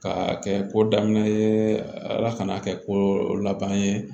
Ka kɛ ko daminɛ ye ala ka n'a kɛ ko laban ye